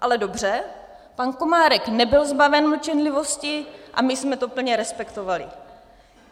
Ale dobře, pan Komárek nebyl zbaven mlčenlivosti a my jsme to plně respektovali.